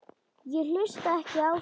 Ég hlusta ekki á þig.